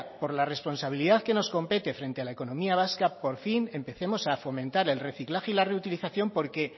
por la responsabilidad que nos compete frente a la economía vasca por fin empecemos a fomentar el reciclaje y la reutilización porque